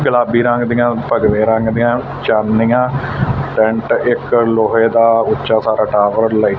ਗੁਲਾਬੀ ਰੰਗ ਦੀਆਂ ਭੰਗਵੇ ਰੰਗ ਦੀਆਂ ਚਾਨਣੀਆ ਟੈਂਟ ਇਕ ਲੋਹੇ ਦਾ ਉੱਚਾ ਸਾਰਾ ਟਾਵਰ ਲਾਈਟ